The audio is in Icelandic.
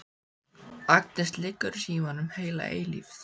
Agnes liggur í símanum heila eilífð.